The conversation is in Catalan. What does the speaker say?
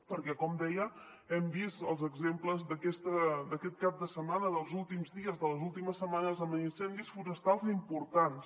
perquè com deia hem vist els exemples d’aquest cap de setmana dels últims dies de les últimes setmanes amb incendis forestals importants